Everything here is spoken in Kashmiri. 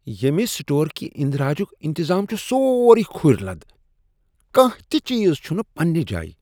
ییٚمہ سٹور كہِ اندراجُک انتظام چُھ سوروٕے كُھرۍ لد۔ کانٛہہ تِہ چیز چُھنہٕ پنٛنہِ جایہِ۔